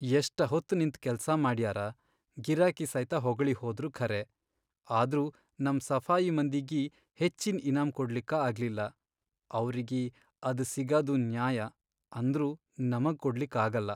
ಎಷ್ಟಹೊತ್ತ್ ನಿಂತ್ ಕೆಲ್ಸಾ ಮಾಡ್ಯಾರ, ಗಿರಾಕಿ ಸೈತ ಹೊಗಳಿಹೋದ್ರು ಖರೇ, ಆದ್ರೂ ನಮ್ ಸಫಾಯಿ ಮಂದಿಗಿ ಹೆಚ್ಚಿನ್ ಇನಾಮ್ ಕೊಡ್ಲಿಕ್ಕ ಆಗಿಲ್ಲ, ಅವ್ರಗಿ ಅದ್ ಸಿಗದು ನ್ಯಾಯ ಅಂದ್ರೂ ನಮಗ್ ಕೊಡ್ಲಿಕ್ ಆಗಲ್ಲಾ.